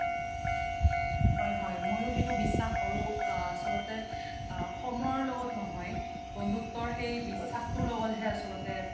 হয় হয় সেইতো মইও বিশ্বাস কৰো আচলতে সময়ৰ লগত নহয় বন্ধুত্বৰ সেই বিশ্বাসতোৰ লগতহে আচলতে